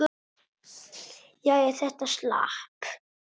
Jæja, þetta slapp.